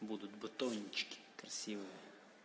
будут батончики красивыми